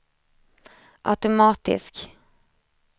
automatisk